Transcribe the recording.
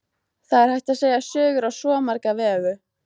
Það er hægt að segja sögur á svo marga vegu.